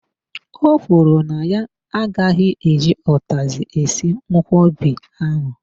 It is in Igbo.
O kwuru na ya agaghị eji utazi esi nkwobi ahụ.